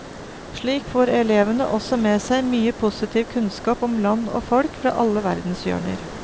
Slik får elevene også med seg mye positiv kunnskap om land og folk fra alle verdens hjørner.